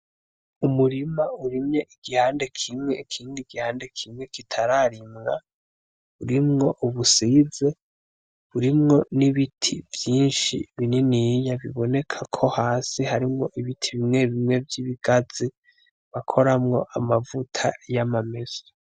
Umurima urimye igihande kimwe, ikindi gihande kimwe kitararimwa, urimwo ubusize, urimwo n‘ ibiti vyinshi binini biboneka ko hasi harimwo ibiti bimwe bimwe vy‘ ibigazi bakoramwo amavuta y‘ amamesa .